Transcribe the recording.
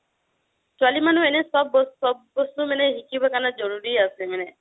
ছোৱালি মানুহ এনেও চ'ব বস্তু মানে শিকিব কাৰণে জৰুৰি আছে মানে